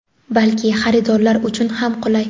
balki xaridorlar uchun ham qulay.